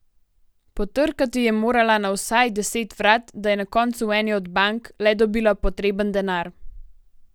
Potrkati je morala na vsaj deset vrat, da je na koncu v eni od bank le dobila potreben denar.